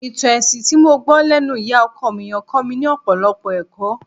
Ìtàn ẹṣin tí mo gbọ́ lẹ́nu ìyá ọkọ mi yẹn kọ́ mi ní ọ̀pọ̀lọpọ̀ ẹ̀kọ́